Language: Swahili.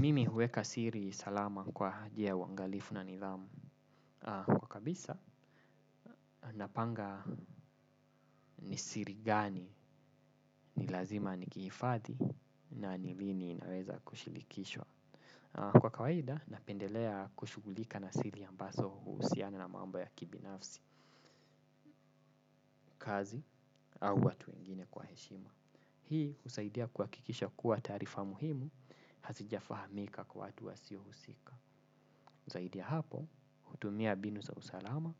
Mimi huweka siri salama kwa njia ya uangalifu na nidhamu. Kwa kabisa, napanga ni siri gani ni lazima nikiifadhi na ni lini naweza kushilikishwa. Kwa kawaida, napendelea kushughulika na siri ambaso uhusiana na mambo ya kibinafsi, kazi, au watu wengine kwa heshima. Hii, husaidia kuakikisha kuwa taarifa muhimu, hazijafahamika kwa watu wasiohusika. Zaidi ya hapo, hutumia mbinu za usalama